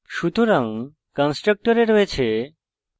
সুতরাং কন্সট্রকটরে রয়েছে: